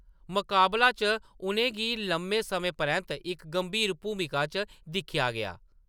मकाबला च उʼनें गी लम्मे समें परैंत्त इक गंभीर भूमिका च दिक्खेआ गेआ।